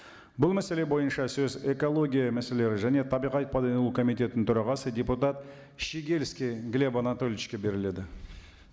бұл мәселе бойынша сөз экология мәселелері және табиғат пайдалану комитетінің төрағасы депутат щегельский глеб анатольевичке беріледі